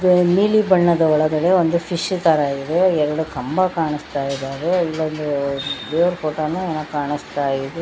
ನೀಲಿ ಬಣ್ಣದ ಒಳಗಡೆ ಫಿಶ್ ತರ ಇದೆ ಎರಡು ಕಂಬ ಕಾಣಿಸ್ತಾ ಇದಾವೆ ಇಲ್ಲೊಂದು ದೇವರ ಫೋಟೋ ನು ಕಾಣಿಸ್ತಾ ಇದೆ.